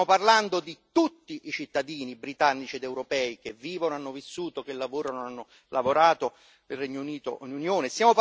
Stiamo parlando di tutti i cittadini britannici ed europei che vivono e hanno vissuto, che lavorano e hanno lavorato nel Regno Unito o nell'Unione.